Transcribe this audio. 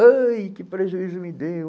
Ai, que prejuízo me deu.